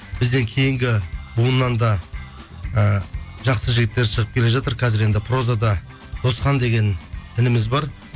бізден кейінгі буыннан да і жақсы жігіттер шығып келе жатыр қазір енді прозада досхан деген ініміз бар